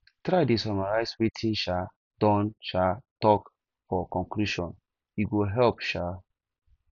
try dey summarize wetin you um don um talk for conclusion e go help um